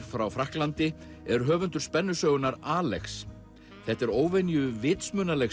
frá Frakklandi er höfundur Alex þetta er óvenju vitsmunaleg